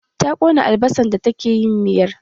Ta ƙona albasan da take yin miyar